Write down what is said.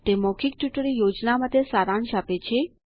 તે મૌખિક ટ્યુટોરીયલ યોજના માટે સારાંશ આપે છે